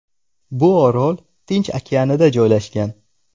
Bu orol Tinch okeanida joylashgan.